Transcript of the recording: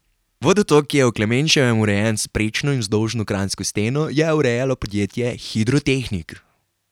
Vodotok, ki je v Klemenčevem urejen s prečno in vzdolžno kranjsko steno, je urejalo podjetje Hidrotehnik.